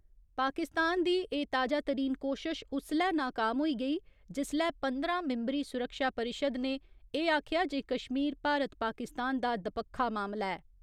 पाकिस्तान दी एह् ताजातरीन कोशश उसलै नाकाम होई गेई, जिसलै पंदरां मिंबरी सुरक्षा परिशद ने एह् आखेआ जे कश्मीर भारत पाकिस्तान दा दपक्खा मामला ऐ।